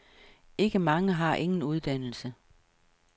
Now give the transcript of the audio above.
Ikke mange har ingen uddannelse.